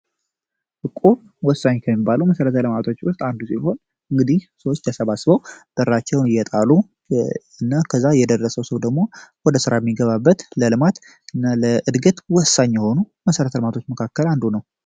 እቁብ ወሳኝ ከሚባሉ መሠረተ ልማቶች ውስጥ አንዱ ሲሆን፤ እንግዲህ ሰዎች ተሰባስበው ብራቸውን እየጣሉና ከዛ የደረሰው ሰው ደግሞ ወደ ስራ የሚገባበት ለልማት እና ለእድገት ወሳኝ የሆኑ መሰረተልማቶች መካከል አንዱ ነው።